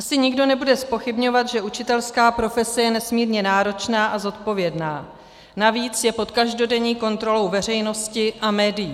Asi nikdo nebude zpochybňovat, že učitelská profese je nesmírně náročná a zodpovědná, navíc je pod každodenní kontrolou veřejnosti a médií.